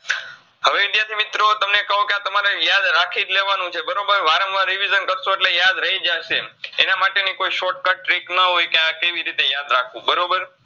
હવે વિદ્યાર્થી મિત્રો તમને કૂ કે તમારે યાદ રાખીજ લેવાનું હોય વારંવાર revision કરસો અટલે યાદ રાઈજ જાસે એનમાટેની કોઈ shortcut trick ન હોય કે આ કેવીરીતે યાદ રાખવું બરોબર